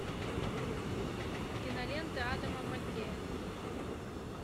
кинолента адама маккея